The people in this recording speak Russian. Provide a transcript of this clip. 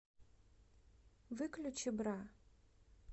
выключи бра